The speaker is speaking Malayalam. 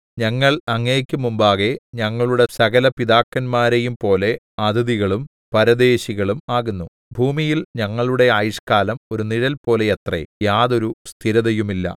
ഞങ്ങൾ അങ്ങയ്ക്ക് മുമ്പാകെ ഞങ്ങളുടെ സകലപിതാക്കന്മാരെയുംപോലെ അതിഥികളും പരദേശികളും ആകുന്നു ഭൂമിയിൽ ഞങ്ങളുടെ ആയുഷ്കാലം ഒരു നിഴൽ പോലെയത്രേ യാതൊരു സ്ഥിരതയുമില്ല